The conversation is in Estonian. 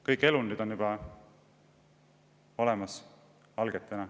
Kõik elundid on algetena juba olemas.